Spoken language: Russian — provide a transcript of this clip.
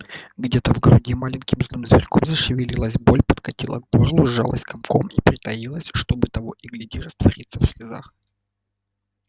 где-то в груди маленьким злым зверьком зашевелилась боль подкатила к горлу сжалась комком и притаилась чтобы того и гляди раствориться в слезах